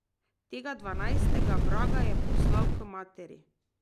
Tega dvanajstega vraga je poslal k materi.